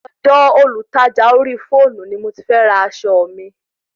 Ọ̀dọ Olùtajà orí fọ́ọ̀nù ni mo ti fẹ ra aṣọ mi